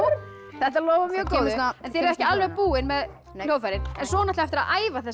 þetta lofar mjög góðu en þið eruð ekki alveg búin með hljóðfærin svo er eftir að æfa þessa